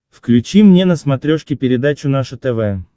включи мне на смотрешке передачу наше тв